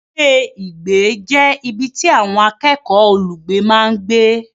Ilé-ìgbé jẹ́ ibi tí àwọn akẹ́kọ̀ọ́ olùgbé máa ń gbé.